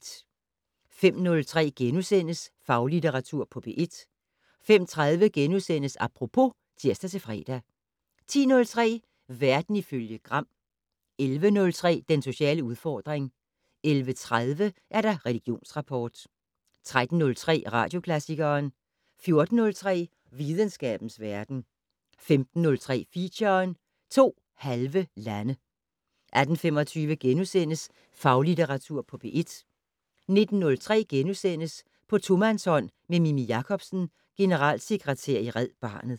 05:03: Faglitteratur på P1 * 05:30: Apropos *(tir-fre) 10:03: Verden ifølge Gram 11:03: Den sociale udfordring 11:30: Religionsrapport 13:03: Radioklassikeren 14:03: Videnskabens verden 15:03: Feature: To halve lande 18:25: Faglitteratur på P1 * 19:03: På tomandshånd med Mimi Jakobsen, generalsekretær i Red Barnet *